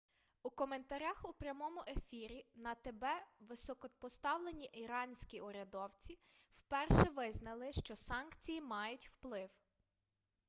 у коментарях у прямому ефірі на тб високопоставлені іранські урядовці вперше визнали що санкції мають вплив